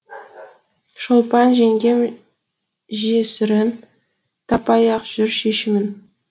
шолпан жеңгем жесірің таппай ақ жүр шешімін